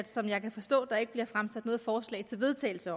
som jeg kan forstå der ikke bliver fremsat noget forslag til vedtagelse